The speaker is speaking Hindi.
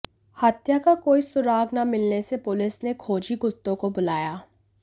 हत्या का कोई सुराग ना मिलने से पुलिस ने खोजी कुत्तों को बुलाया